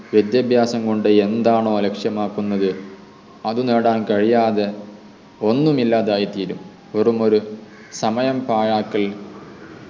വിദ്യാഭ്യാസം കൊണ്ട് എന്താണോ ലക്ഷ്യമാക്കുന്നത് അതു നേടാൻ കഴിയാതെ ഒന്നും ഇല്ലാതായിത്തീരും വെറുമൊരു സമയം പാഴാക്കൽ